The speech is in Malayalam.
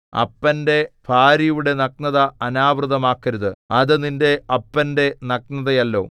അപ്പന്റെ ഭാര്യയുടെ നഗ്നത അനാവൃതമാക്കരുത് അത് നിന്റെ അപ്പന്റെ നഗ്നതയല്ലോ